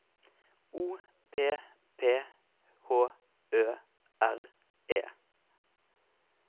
O P P H Ø R E